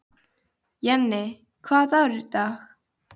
Jenni, hvaða dagur er í dag?